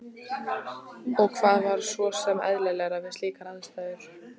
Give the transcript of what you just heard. Og hvað var svo sem eðlilegra við slíkar aðstæður?